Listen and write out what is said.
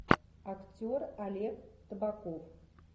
актер олег табаков